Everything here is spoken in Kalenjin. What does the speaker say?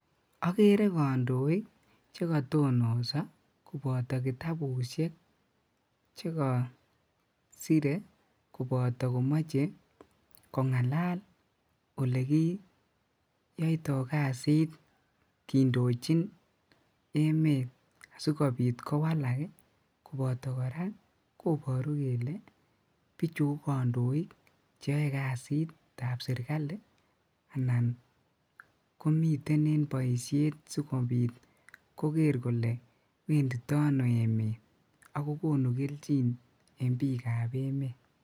Okere kondoik chekotonoso koboto kitabushek chekosire koboto komoche kongalal olekiyoito kasit kindochin emet asikobit kowalak ii koboto koraa koboru kele bichu ko kondoik cheoe kasitab sirkali anan komiten en boishet sikobit koker kole wendindo ono emet ak kokonu keljin en bikab emet.